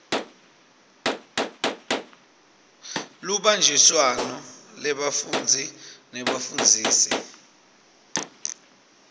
lubanjiswano lwebafundzi nebafundzisi